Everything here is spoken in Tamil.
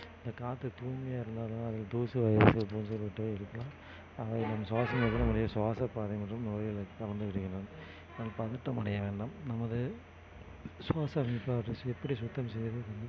இந்த காற்று தூய்மையா இருந்ததா தூசு போன்றவை இருக்கலாம் அதை நாம் சுவாசப்பாதை மற்றும் நுரையீரலுக்கு நாம் பதற்றம் அடையவேண்டாம் நமது